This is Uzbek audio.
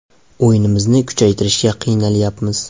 O‘yinimizni kuchaytirishga qiynalyapmiz.